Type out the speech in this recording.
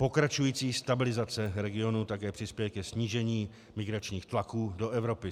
Pokračující stabilizace regionu také přispěje ke snížení migračních tlaků do Evropy.